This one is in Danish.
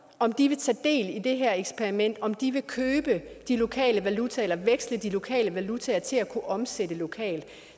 om de vil tage del i det her eksperiment om de vil købe de lokale valutaer eller veksle de lokale valutaer til at kunne omsætte lokalt